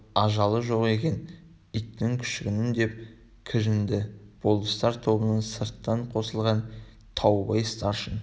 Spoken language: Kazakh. ажалы жоқ екен иттің күшігінің деп кіжінді болыстар тобына сырттан қосылған таубай старшын